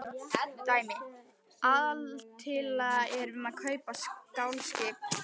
Dæmi: Aðaltillaga er um að kaupa stálskip.